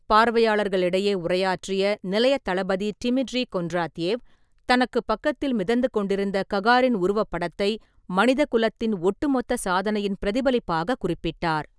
பார்வையாளர்களிடையே உரையாற்றிய நிலையத் தளபதி டிமிட்ரி கொன்ட்ராத்யேவ், தனக்குப் பக்கத்தில் மிதந்து கொண்டிருந்த ககாரின் உருவப்படத்தை "மனித குலத்தின் ஒட்டுமொத்த" சாதனையின் பிரதிபலிப்பாக குறிப்பிட்டார்.